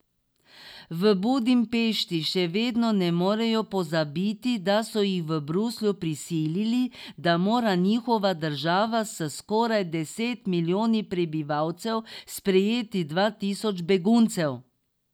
V Budimpešti še vedno ne morejo pozabiti, da so jih v Bruslju prisilili, da mora njihova država s skoraj deset milijoni prebivalcev sprejeti dva tisoč beguncev.